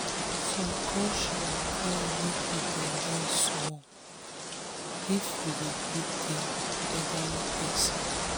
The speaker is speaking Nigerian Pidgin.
some culture require make you bend down small if you um dey greet dem elderly pesin.